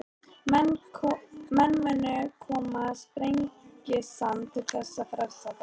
Menn munu koma Sprengisand til þess að frelsa þá.